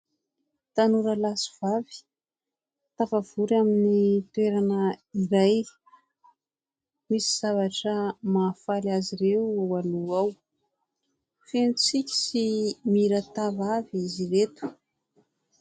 Tanora lahy sy vavy tafavory amin'ny toerana iray; misy zavatra mahafaly azy ireo ao aloha ao; feno tsiky sy mirantava avy izy ireto.